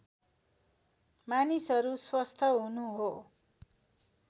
मानिसहरू स्वस्थ हुनु हो